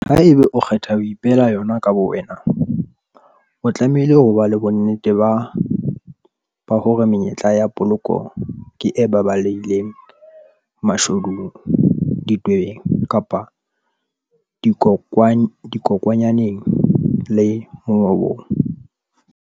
Ha eba o kgetha ho ipehela yon aka bowena, o tlamehile hob a le bonnete bah ore menyetla ya poloko ke e baballehileng mashodung, ditwebeng kapa dikokwanyaneng le mongobong.